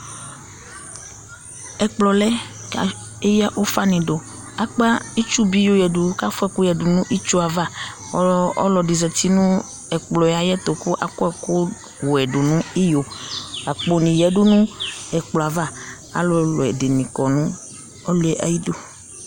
ɛkplɔ lɛ k'eya ufa ni do akpa itsu bi yɔ ya du k'afua ɛkò ya du n'itsu ava ɔlò ɛdi zati no ɛkplɔ yɛ ayi ɛto k'akɔ ɛkò wɛ do n'iyo akpo ni ya du no ɛkplɔ yɛ ava alòlò ɛdini kɔ nu ɔlò yɛ ayi du